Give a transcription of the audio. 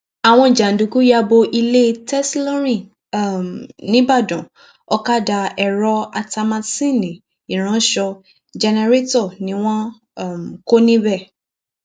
àwọn jàǹdùkú ya bo ilé tẹsílọrìn um nìbàdàn ọkadà èrò ata másinni ìránṣọ jẹnrérétò ni wọn um kọ níbẹ